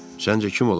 Səncə kim olar?